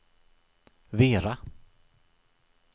Vera